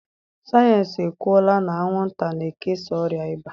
Sayensị ekwuola na anwụnta na-ekesa ọrịa ịba.